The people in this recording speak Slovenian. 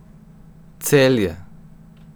Celje.